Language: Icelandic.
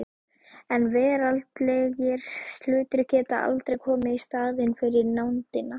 En veraldlegir hlutir geta aldrei komið í staðinn fyrir nándina.